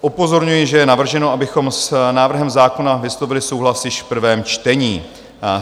Upozorňuji, že je navrženo, abychom s návrhem zákona vyslovili souhlas již v prvním čtení.